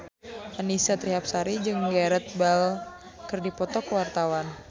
Annisa Trihapsari jeung Gareth Bale keur dipoto ku wartawan